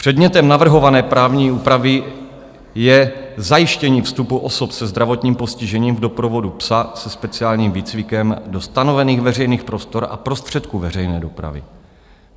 Předmětem navrhované právní úpravy je zajištění vstupu osob se zdravotním postižením v doprovodu psa se speciálním výcvikem do stanovených veřejných prostor a prostředků veřejné dopravy.